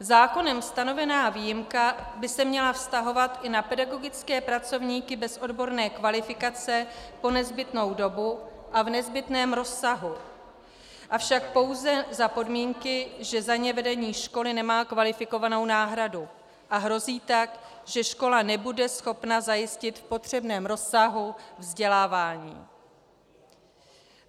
Zákonem stanovená výjimka by se měla vztahovat i na pedagogické pracovníky bez odborné kvalifikace po nezbytnou dobu a v nezbytném rozsahu, avšak pouze za podmínky, že za ně vedení školy nemá kvalifikovanou náhradu a hrozí tak, že škola nebude schopna zajistit v potřebném rozsahu vzdělávání.